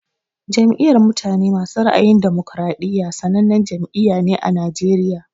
Jam'iyar mutane masu ra'ayin damokariɗiya sannanen jam'iyya ne ã Najeriya.